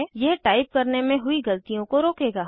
यह टाइप करने में हुई गलतियों को रोकेगा